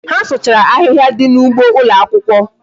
Ha sụchara ahịhịa dị n'ụgbọ ụlọakwụkwọ